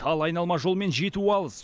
ал айналма жолмен жету алыс